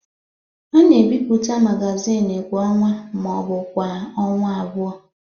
A na-ebipụta magazin kwa ọnwa ma ọ bụ kwa ọnwa abụọ.